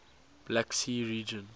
black sea region